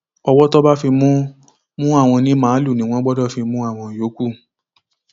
ọwọ tí wọn bá fi mú mú àwọn onímaalùú ni wọn gbọdọ fi mú àwọn yòókù